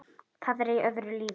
Það er í öðru lífi.